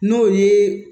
N'o ye